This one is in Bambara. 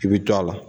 I bɛ to a la